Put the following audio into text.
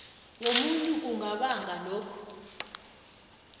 wobuntu kungabanga lokhu